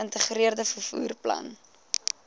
geïntegreerde vervoer plan